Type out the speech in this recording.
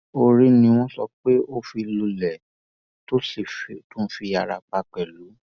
orí ni wọn sọ pé ó fi lulẹ tó sì tún fi ara pa pẹlú